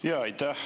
Aitäh!